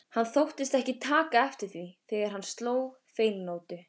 Hann þóttist ekki taka eftir því þegar hann sló feilnótu.